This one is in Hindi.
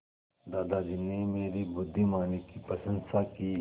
दादाजी ने मेरी बुद्धिमानी की प्रशंसा की